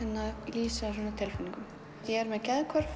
lýsa tilfinningum ég er með geðhvörf